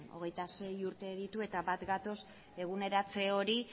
hogeita sei urte ditu eta bat gatoz eguneratze hori